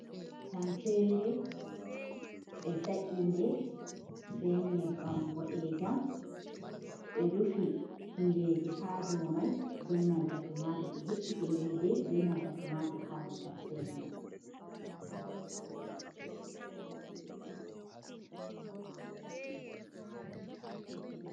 Tamseere, ɓe sa’i nde be nyebbam boɗeejam, ɓe rufi tingeje ha do mai be nanta tumatur, be he’i tingeje be nanta tomator ha do tamsere mai.